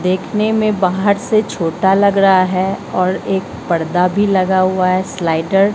देखने में बाहर से छोटा लग रहा है और एक पर्दा भी लगा हुआ है स्लाइडर --